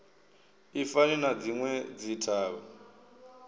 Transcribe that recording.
i fani na dzinwe dzithavha